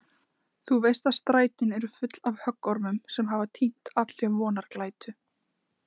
Þú veist að strætin eru full af höggormum sem hafa týnt allri vonarglætu.